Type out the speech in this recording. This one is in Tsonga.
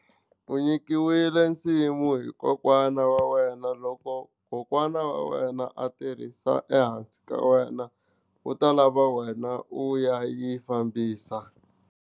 U nyikiwile nsimu hi kokwana wa wena loko kokwana wa wena a tirhisa ehansi ka wena u ta lava wena u ya yi fambisa.